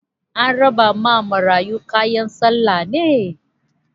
An rabawa marayun kayan sallah ne?